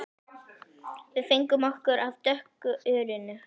Við fengum okkur af dökku ölinu.